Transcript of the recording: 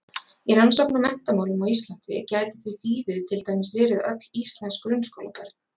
Í rannsókn á menntamálum á Íslandi gæti því þýðið til dæmis verið öll íslensk grunnskólabörn.